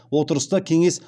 отырыста кеңес